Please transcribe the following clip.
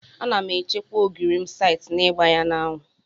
Ana m echekwa ogiri m site n'igba ya n'anwụ.